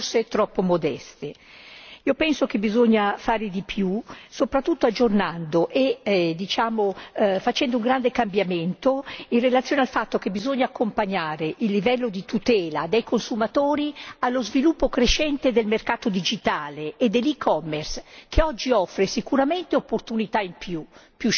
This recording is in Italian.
Io penso che bisogna fare di più, soprattutto aggiornando e facendo un grande cambiamento in relazione al fatto che bisogna accompagnare il livello di tutela dei consumatori allo sviluppo crescente del mercato digitale e dell'e Commerce, che oggi offre sicuramente opportunità in più più scelta di prodotti e servizi